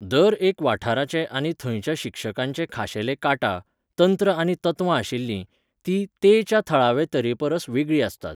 दर एक वाठाराचे आनी थंयच्या शिक्षकांचे खाशेले काटा, तंत्र आनी तत्वां आशिल्लीं, तीं 'ते'च्या थळावे तरेपरस वेगळीं आसतात.